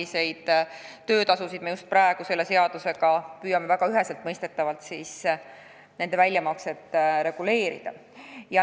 Neid töötasusid me selle seadusega püüamegi väga üheselt mõistetavalt reguleerida.